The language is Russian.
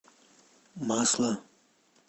масло